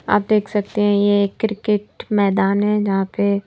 आप देख सकते हैं ये क्रिकेट मैदान है जहां पे--